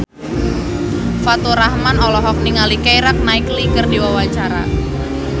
Faturrahman olohok ningali Keira Knightley keur diwawancara